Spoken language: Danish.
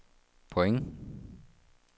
point